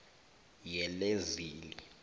yelezili